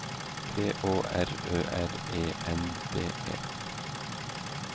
P Å R Ø R E N D E